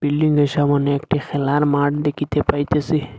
বিল্ডিংয়ের সামোনে একটি খেলার মাঠ দেখিতে পাইতেসি।